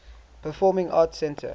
performing arts center